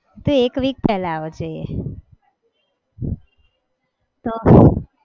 તો એક week પહેલા અવાજે તો